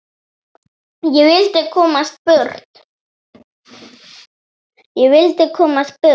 Ég vildi komast burt.